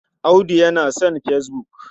Audu yana son fesbuk.